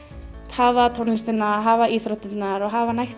hafa tónlistina hafa íþróttirnar og hafa nægt